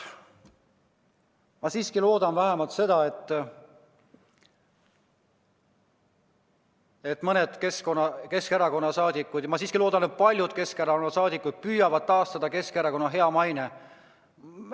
Ma loodan vähemalt seda, et mõned Keskerakonna saadikud, ma õigemini loodan, et paljud Keskerakonna saadikud püüavad taastada Keskerakonna head mainet.